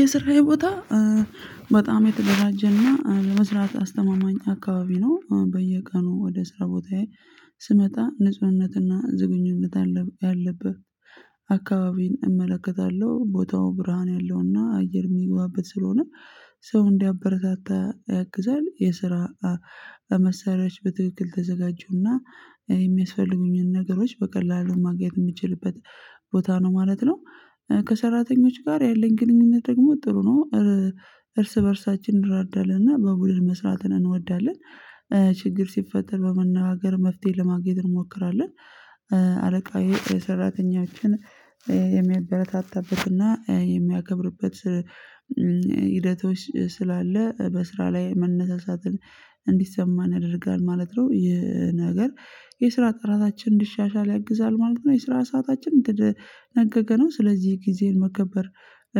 የሰራየ ቦታ በጣም የተደራጀና ለመስራት አስተማማኝ አካባቢ ነው። በየቀኑ ወደ ስራ ቦታዬ ስመጣ ንጹህነትና ዝግኝነት ያለበት አካባቢን እመለከታለሁ። ቦታው ብርሃን ያለውና አየር የሚገባበት ስለሆነ ሰው እንዲያበረታታ ያግዛል። የስራ መሳሪያዎች በትክክል የተዘጋጁና የሚያስፈልጉኝን ነገሮች በቀላሉ ማግኘት የምችልበት ቦታ ነው ማለት ነው። ከሰራተኞች ጋር ያለኝ ግንኙነት ደግሞ ጥሩ ነው። እርስ በእርሳችን እንረዳዳለን። እና በቡድን መስራትን እንወዳለን። ችግር ሲፈጠር በመነጋገር መፍትሄ ለማግኘት እንሞክራለን። አለቃየ ሰራተኞችን የሚያበረታታበትና የሚያከብርበት ሂደቶች ስላለ በስራ ላይ መነሳሳትን እንዲሰማን ያደርጋል ማለት ነው። ይህ ነገር የስራ ጥራታችን እንዲሻሻል ያግዛል ማለት ነው። የስራ ሰዓታችን የተደነገገ ነው። ስለዚህ ጊዜን መከበር